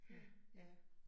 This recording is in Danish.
Ja, ja